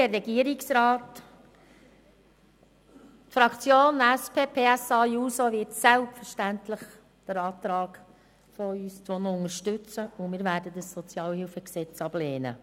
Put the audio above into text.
Die SP-JUSO-PSA-Fraktion wird unseren Antrag selbstverständlich unterstützen, und wir werden dieses SHG ablehnen.